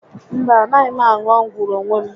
Mba, a naghị m aṅu ọgwụ n'onwe m